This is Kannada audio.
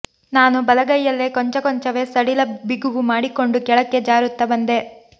ನಾನು ಬಲಗೈಯಲ್ಲೇ ಕೊಂಚಕೊಂಚವೇ ಸಡಿಲ ಬಿಗುವು ಮಾಡಿಕೊಂಡು ಕೆಳಕ್ಕೆ ಜಾರುತ್ತಾ ಬಂದೆ